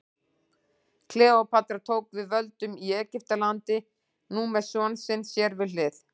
Kleópatra tók við völdum í Egyptalandi, nú með son sinn sér við hlið.